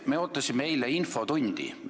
Me ootasime eile infotundi.